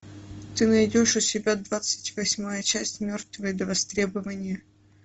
ты найдешь у себя двадцать восьмая часть мертвые до востребования